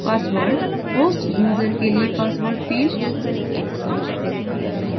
password – host user के लिए password field